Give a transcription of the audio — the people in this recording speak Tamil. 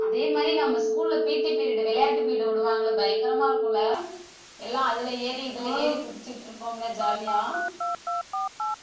அதே மாதிரி நம்ம school ல PT period விளையாட்டு period விடுவாங்கல்ல பயங்கரமா இருக்கும் இல்ல எல்லாம் அதுல ஏறி இதுல ஏறி குதிச்சிகிட்டு இருப்போம்ல jolly யா